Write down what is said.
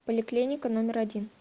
поликлиника номер один